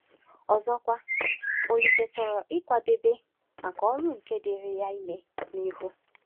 Ọzọkwa, Olise chọrọ ịkwadebe maka ọrụ nke dịịrị ya ime n’ihu.